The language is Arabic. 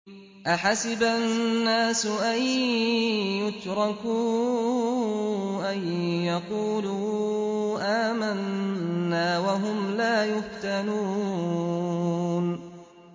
أَحَسِبَ النَّاسُ أَن يُتْرَكُوا أَن يَقُولُوا آمَنَّا وَهُمْ لَا يُفْتَنُونَ